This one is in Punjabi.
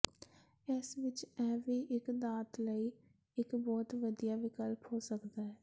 ਇਸ ਵਿਚ ਇਹ ਵੀ ਇੱਕ ਦਾਤ ਲਈ ਇੱਕ ਬਹੁਤ ਵਧੀਆ ਵਿਕਲਪ ਹੋ ਸਕਦਾ ਹੈ